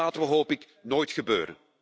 Dat laten we, hoop ik, nooit gebeuren.